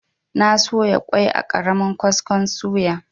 Na soya kwai a ƙaramin kaskon suya.